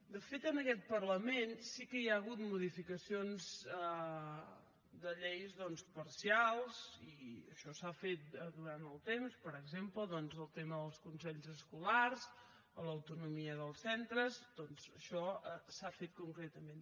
de fet en aquest parlament sí que hi ha hagut modificacions de lleis doncs parcials i això s’ha fet durant el temps per exemple el tema dels consells escolars a l’autonomia dels centres això s’ha fet concretament